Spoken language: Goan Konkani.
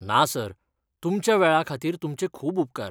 ना सर. तुमच्या वेळा खातीर तुमचे खूब उपकार!